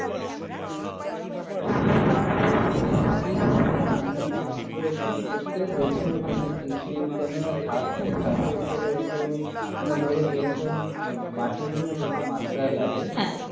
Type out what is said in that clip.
. ঠিকআছে আমি আসবো একদিন এসে দেখে ওখানে কি কি কেন না ছাদ তো ছাদের ওপরে ওতো না ধরো যেরকম আহ মাটি গুলো যত মাত্রায় লাগে হ্যাঁ